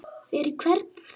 Fyrir hvern þá?